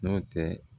Nɔntɛ